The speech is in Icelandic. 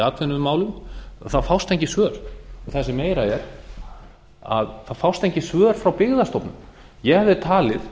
atvinnumálum fást engin svör það sem meira er það fást engin svör frá byggðastofnun ég hefði talið